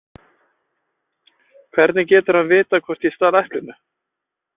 Hvernig getur hann vitað hvort ég stal eplinu?